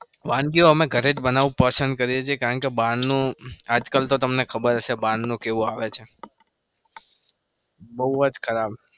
વાનગીઓ અમે ઘરે જ બનાવું પસંદ કરીએ છીએ. કારણ કે બારનું આજ કલ તો તમને ખબર હશે બારનું કેવુ આવે છે બઉ જ ખરાબ.